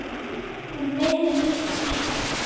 Hún er meira en lítið skrítin.